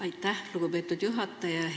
Aitäh, lugupeetud juhataja!